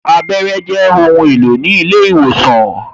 Abẹ́rẹ́ Jẹ ohun èlò ní ilé ìwòsàn